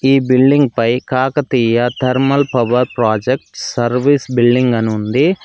ఈ బిల్డింగ్ పై Kakatiya thermal power projects service building అని ఉంది.